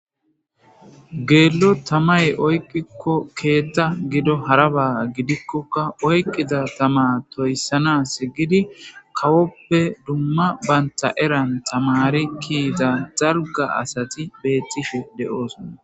Geello tamay oyqikko keetta gido haraba gidikkokka oyqqiza tama toyssana segidi kawoppe dumma banta eran tamari kiiza dalga asati beettifhe de7oosona